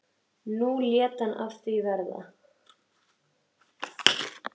Nú lét hann verða af því.